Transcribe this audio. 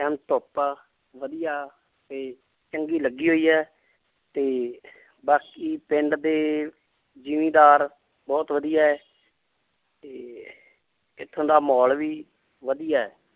ਧੁੱਪ ਵਧੀਆ ਤੇ ਚੰਗੀ ਲੱਗੀ ਹੋਈ ਹੈ ਤੇ ਬਾਕੀ ਪਿੰਡ ਦੇ ਜ਼ਿੰਮੀਦਾਰ ਬਹੁਤ ਵਧੀਆ ਹੈ ਤੇ ਇੱਥੋਂ ਦਾ ਮਾਹੌਲ ਵੀ ਵਧੀਆ ਹੈ l